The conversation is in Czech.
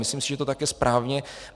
Myslím si, že to tak je správně.